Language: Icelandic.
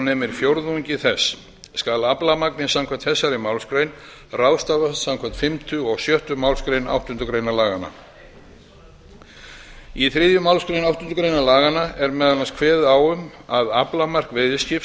nemi fjórðungi þess skal aflamagnið samkvæmt þessari málsgrein ráðstafað samkvæmt fimmtu og sjöttu málsgrein áttundu grein laganna í þriðju málsgrein áttundu grein laganna er meðal annars kveðið á um að aflamark veiðiskips